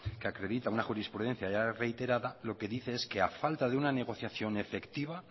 que acredita una jurisprudencia ya reiterada lo que dice es que a falta de una negociación efectiva